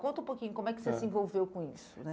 Conta um pouquinho, como é que você se envolveu com isso né?